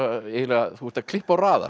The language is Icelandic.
eiginlega þú ert að klippa og raða